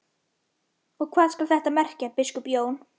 Og hvað skal þetta merkja, biskup Jón?